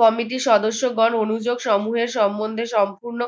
committee সদস্যগণ অনুযোগ সমূহে সম্মন্ধে সম্পূর্ণ